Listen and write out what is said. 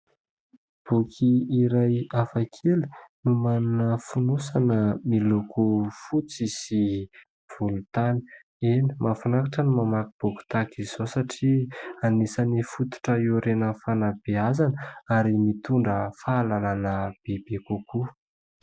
Boky iray hafa kely no manana fonosana miloko fotsy sy volontany. Eny, mahafinaritra ny mamaky boky tahaka izao satria anisany fototra iorenan'ny fanabeazana ary mitondra fahalalàna bebe kokoa.